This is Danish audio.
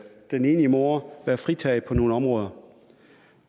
enlige mor være fritaget på nogle områder